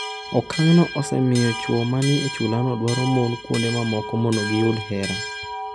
Okang’no osemiyo chwo ma ni e chulano dwaro mon kuonde mamoko mondo giyud hera.